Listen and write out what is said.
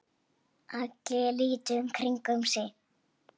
Allir litu í kringum sig.